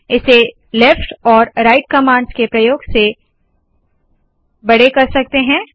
इसे लेफ्ट और right commands के प्रयोग से कर सकते है